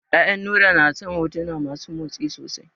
Ƴaƴan Nura na son hotuna masu motsi sosai.